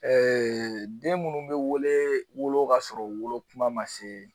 den minnu bɛ wele wolo kasɔrɔ wolo kuma ma se